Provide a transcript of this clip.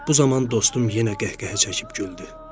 Bu zaman dostum yenə qəhqəhə çəkib güldü.